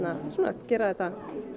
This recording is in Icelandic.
gera þetta